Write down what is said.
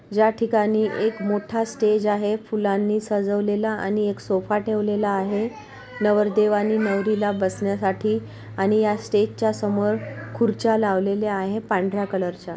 या ठिकाणी एक मोठा स्टेज आहे फुलांनी सजवलेला आणि एक सोफा ठेवलेला आहे नवरदेव आणि नवरीला बसण्यासाठी आणि स्टेजच्या समोर खुर्च्या लावलेले आहे पांढऱ्या कलरच्या .